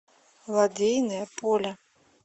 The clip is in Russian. лодейное поле